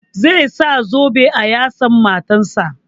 Zai saka zobe a yatsan matan sa